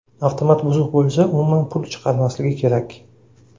Avtomat buzuq bo‘lsa, umuman pul chiqarmasligi kerak.